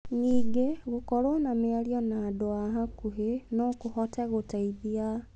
Ningĩ, gũkorwo na mĩario na andũ a hakuhĩ no kũhote gũteithia.